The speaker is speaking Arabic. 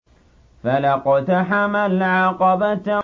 فَلَا اقْتَحَمَ الْعَقَبَةَ